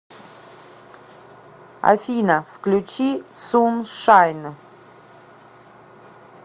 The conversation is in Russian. афина включи суншайн